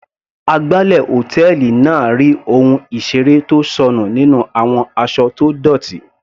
Agbálẹ̀ hòtẹ́ẹ̀lì náà rí ohun ìseré tó sọnù nínú àwọn aṣọ tó dọ́tì.